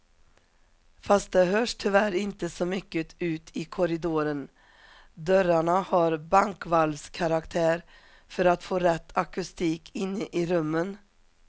Fast det hörs tyvärr inte så mycket ut i korridoren, dörrarna har bankvalvskaraktär för att få rätt akustik inne i rummen.